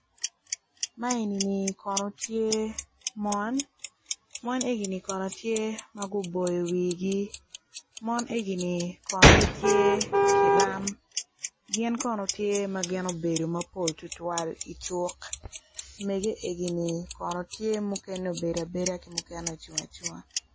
Ma enini kono tye mon mon egini kono tye ma guboyo wigi mon egini kono tye cilam gin kono tye ma gubedo mapol tutwal icuk mege enini kono tye mukene obedo abeda mukene ocung acunga.